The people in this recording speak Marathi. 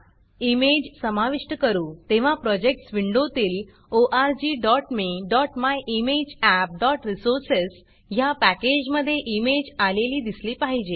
इमेज समाविष्ट करू तेव्हा प्रोजेक्टस विंडोतील orgmemyimageappरिसोर्सेस ह्या पॅकेजमधे इमेज आलेली दिसली पाहिजे